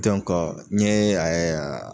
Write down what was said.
n ɲe a ye